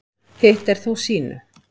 Hitt er þó sýnu